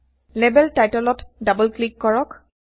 label টাইটলত double click কৰক